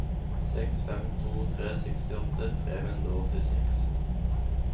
seks fem to tre sekstiåtte tre hundre og åttiseks